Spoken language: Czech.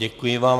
Děkuji vám.